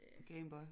Game Boy